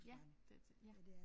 Ja det er til ja